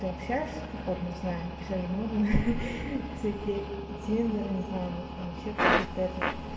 ты общаешься походу не знаю всё же можно всякие тиндеры не знаю может там ещё какие-то этот